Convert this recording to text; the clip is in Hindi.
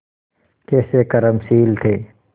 कैसे कर्मशील थे